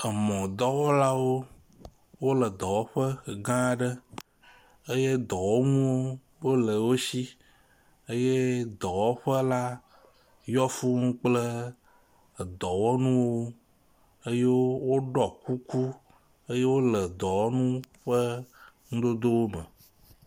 emɔ dɔwɔlawo wóle dɔwɔƒe aɖe eye dɔwɔŋuwo le wosi eye dɔwɔƒe la yɔ fūu kple edɔwɔnu eye wóɖɔ kuku eye wóle dɔwɔnu ƒe kukuwo me